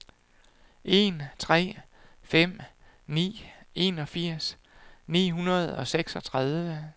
en tre fem ni enogfirs ni hundrede og seksogtredive